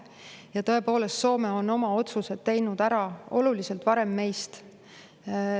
Ja tõepoolest, Soome on oma otsused teinud ära oluliselt varem meist.